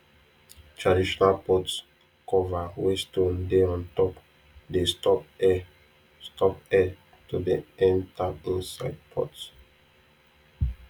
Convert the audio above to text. traditional pot cover wey stone dey untop dey stop air stop air to dey enter inside pot